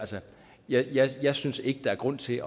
jeg jeg synes ikke at der er grund til at